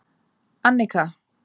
Annika